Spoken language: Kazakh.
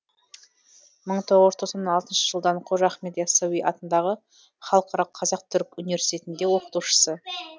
мың тоғыз жүз тоқсан алтыншы жылдан қожа ахмет йассауи атындағы халықаралық қазақ түрік университетінде оқытушысы